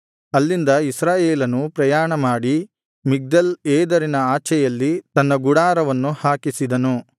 ಅಲ್ಲಿಂದ ಇಸ್ರಾಯೇಲನು ಪ್ರಯಾಣ ಮಾಡಿ ಮಿಗ್ದಲ್ ಏದರಿನ ಆಚೆಯಲ್ಲಿ ತನ್ನ ಗುಡಾರವನ್ನು ಹಾಕಿಸಿದನು